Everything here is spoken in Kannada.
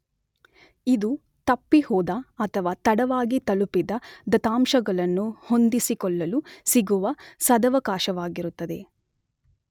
ಇದು ತಪ್ಪಿಹೋದ ಅಥವಾ ತಡವಾಗಿ ತಲುಪಿದ ದತ್ತಾಂಶಗಳನ್ನು ಹೊಂದಿಸಿಕೊಳ್ಳಲು ಸಿಗುವ ಸದವಕಾಶವಾಗಿರುತ್ತದೆ.